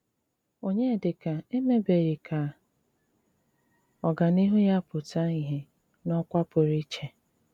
Ọnyédíkà émèbèghí ká ọ́gáníhù yá pụtà ìhé n’ókwà pụrụ íché?